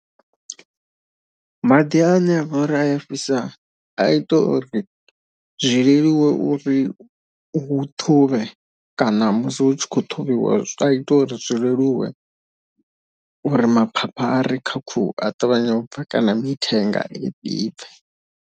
Maḓi ane avha uri aya fhisa a ita uri zwi leluwe uri u ṱhuvhe kana musi hu tshi khou ṱhuvhiwa a ita uri zwi leluwe uri maphapha kha khuhu a ṱavhanye u bva kana mithenga.